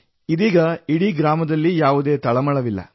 ಇದೀಗ ಇಡೀ ಗ್ರಾಮದಲ್ಲಿ ಯಾವುದೇ ಚಿಂತೆಯಿಲ್ಲ